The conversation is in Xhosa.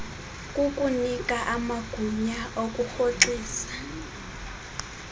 kukunika amagunya okurhoxisa